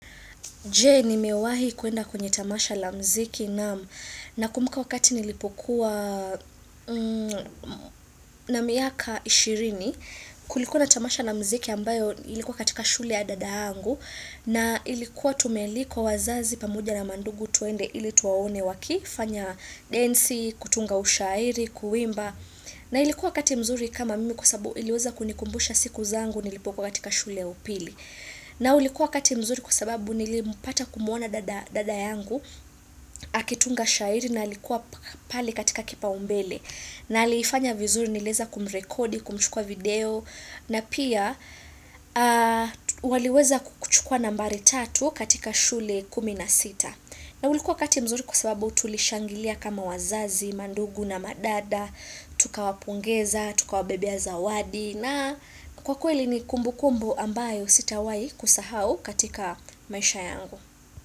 Je, nimewahi kwenda kwenye tamasha la muziki? Naam, nakumbuka wakati nilipokuwa na miaka ishirini kulikuwa na tamasha la muziki ambayo ilikuwa katika shule ya dada yangu na ilikuwa tumealikwa wazazi pamoja na mandugu twende ili tuwaone wakifanya densi, kutunga ushairi, kuimba na ilikuwa wakati mzuri kama mimi kwa sababu iliweza kunikumbusha siku zangu nilipokuwa katika shule ya upili. Na ulikuwa wakati mzuri kwa sababu nilipata kumuona dada dada yangu akitunga shairi na ulikuwa pale katika kipaumbele. Na ali fanya vizuri niliweza kumrekodi kumchukua video na pia waliweza kuchukua nambari tatu katika shule kumi na sita mzuri kwa sababu tulishangilia kama wazazi, mandugu na madada, tukawapongeza, tukawabebea zawadi. Na kwa kweli ni kumbukumbu ambayo sitawahi kusahau katika maisha yangu.